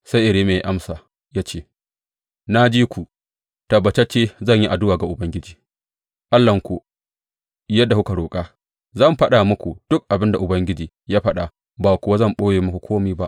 Sai Irmiya ya amsa ya ce, Na ji ku, tabbatacce zan yi addu’a ga Ubangiji Allahnku yadda kuka roƙa; zan faɗa muku duk abin da Ubangiji ya faɗa ba kuwa zan ɓoye muku kome ba.